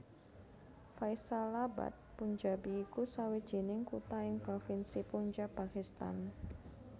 Faisalabad Punjabi iku sawijining kutha ing provinsi Punjab Pakistan